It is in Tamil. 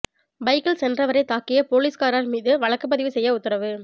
பைக்கில் சென்றவரை தாக்கிய போலீஸ்காரர் மீது வழக்கு பதிவு செய்ய உத்தரவு